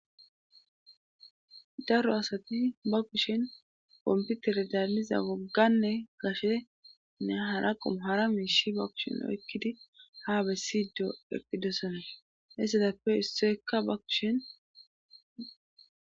daro asati ba kushin komputere daalliza wogganne gashenne hara qomo hara miishi ba kushin oykkidi ha bessido eqqidosona hessedappe issoyekka ba kushin